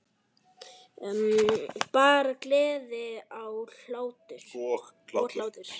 Bara gleði og hlátur.